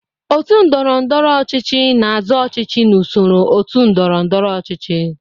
Otu ndọrọndọrọ ọchịchị na-azọ ọchịchị n'usoro otu ndọrọ ndọrọ ọchịchị.